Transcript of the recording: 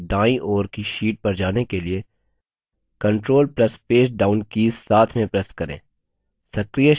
सक्रिय sheet की दाईं ओर की sheet पर जाने के लिए control plus page down keys साथ में press करें